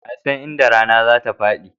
Wa ya san inda rana zatafaɗi?